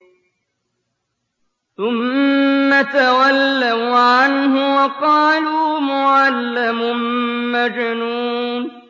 ثُمَّ تَوَلَّوْا عَنْهُ وَقَالُوا مُعَلَّمٌ مَّجْنُونٌ